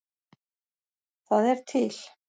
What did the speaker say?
Það er til